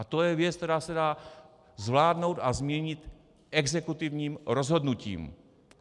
A to je věc, která se dá zvládnout a změnit exekutivním rozhodnutím.